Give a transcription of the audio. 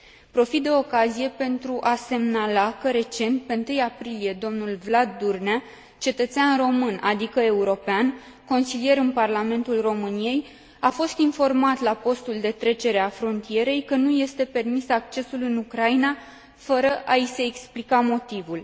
Profit de ocazie pentru a semnala că, recent, pe 1 aprilie, dl Vlad Burnea, cetățean român, adică european, consilier în Parlamentul României, a fost informat la postul de trecere a frontierei că nu îi este permis accesul în Ucraina, fără a i se explica motivul.